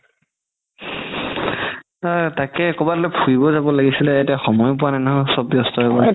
তাকেই কবালৈ ফুৰিব যাব লাগিছিলে এতিয়া সময়ও পোৱা নাই নহয় চব ব্যস্ত হয় গ'ল